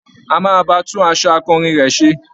A máa ba tún aṣọ akọrin rẹ̀ ṣe.